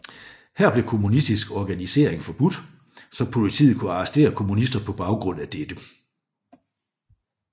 Her blev kommunistisk organisering forbudt så politiet kunne arrestere kommunister på baggrund af dette